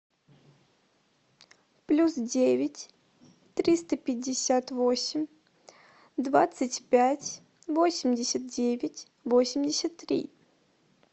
плюс девять триста пятьдесят восемь двадцать пять восемьдесят девять восемьдесят три